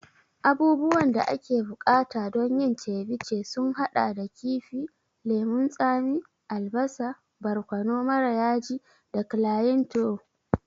Abubuwan da ake buƙata don yin ceviche sun haɗa da kifi, lemun tsami, albasa, barkono mara yaji da cliantro.